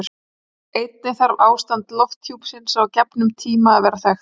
einnig þarf ástand lofthjúpsins á gefnum tíma að vera þekkt